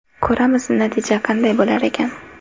Ko‘ramiz, natija qanday bo‘lar ekan.